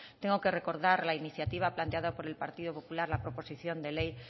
tengo que recordar la iniciativa planteada por el partido popular la proposición de ley